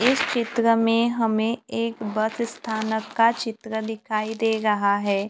इस चित्र में हमे एक वर्तस्थानक का चित्र दिखाई दे रहा है।